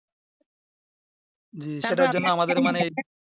জি সেটার জন্য